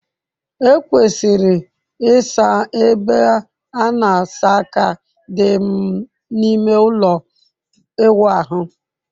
E kwesịrị ịsa ebe a na asa aka dị n'ime ụlọ ịwụ ahụ.